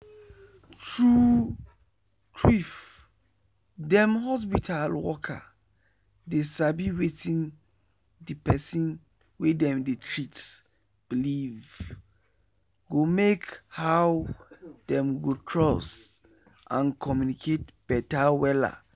true trueif dem hospital worker dey sabi wetin de pesin wey dem dey treat believee go make how dem go trust and communicate beta wella.